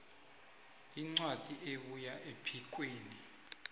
incwadi ebuya ephikweni